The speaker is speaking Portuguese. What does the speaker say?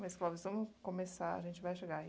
Mas, Clóvis, vamos começar, a gente vai chegar aí.